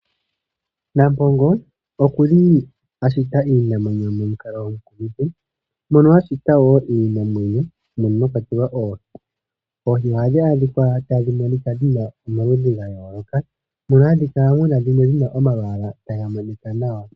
Nampongo oku li ashita iinamwenyo momukalo omukumithi mono a shita wo iinamwenyo mono mwa kwatelwa oohi. Oohi ohadhi adhika tadhi monika dhi na omaludhi ga yooloka mono hamu kala mu na dhimwe dhi na omalwaala taga monika nawa.